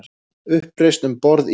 Uppreisn um borð í